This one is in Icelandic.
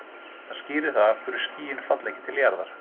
Þetta skýrir það af hverju skýin falla ekki til jarðar.